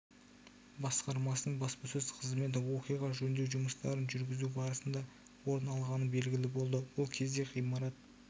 басқармасының баспасөз қызметі оқиға жөндеу жұмыстарын жүргізу барыснда орын алғаны белгілі болды бұл кезде ғимарат